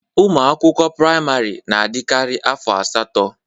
Ụmụ akwụkwọ praịmari na adikari afọ asatọ.